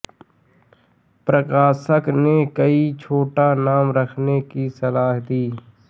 प्रकाशक ने कोई छोटा नाम रखने की सलाह दी